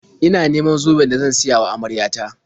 Ina neman zoben da zan siya wa amarya ta.